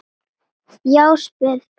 Já, spyrðu pabba þinn!